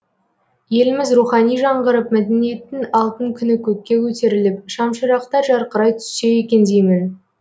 еліміз рухани жаңғырып мәдениеттің алтын күні көкке көтеріліп шамшырақтар жарқырай түссе екен деймін